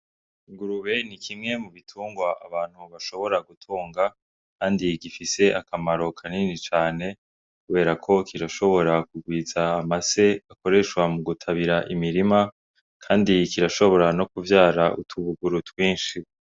Ingurube ni kimwe mu bitungwa abantu bashobora gutonga, kandi igifise akamaro kanini cane, kubera ko kirashobora kugwiza amase akoreshwa mu gutabira imirima, kandi kirashobora no kuvyara utubuguru twinshi.